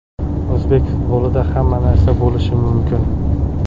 O‘zbek futbolida hamma narsa bo‘lishi mumkin.